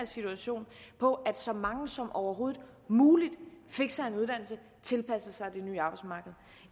situation på at så mange som overhovedet muligt fik sig en uddannelse og tilpassede sig